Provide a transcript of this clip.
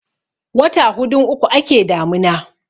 wata hudun uku ake damina